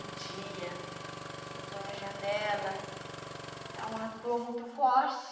Um dia, eu estou na janela, dá uma dor muito forte.